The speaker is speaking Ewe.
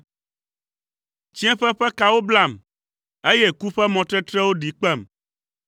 Tsiẽƒe ƒe kawo blam, eye ku ƒe mɔtetrewo ɖi kpem.